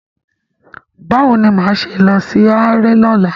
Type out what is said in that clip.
Báwo ni máa ṣe lọ sí haráré lọ́la?